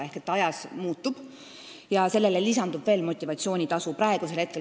Seega, see ajas muutub ja sellele lisandub veel motivatsioonitasu.